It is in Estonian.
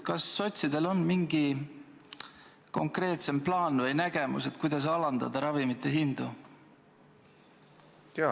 Kas sotsidel on mingi konkreetsem plaan või nägemus, kuidas alandada ravimite hindu?